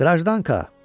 Qrajdanka.